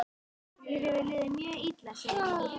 Mér hefur liðið mjög illa, segir hún.